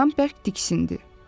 Dovşan bərk diksindi.